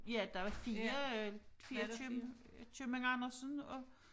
Ja der var 4 øh 4 køb købmand Andersen og